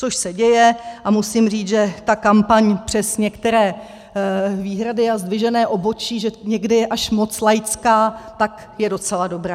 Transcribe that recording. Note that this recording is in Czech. Což se děje a musím říct, že ta kampaň přes některé výhrady a zdvižené obočí, že někdy je až moc laická, tak je docela dobrá.